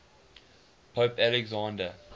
pope alexander